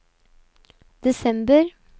desember